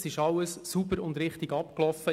Alles ist sauber und richtig abgelaufen;